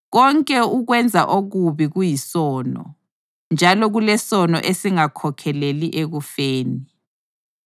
Konke ukwenza okubi kuyisono, njalo kulesono esingakhokheleli ekufeni.